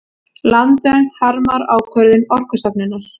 Landvernd harmar ákvörðun Orkustofnunar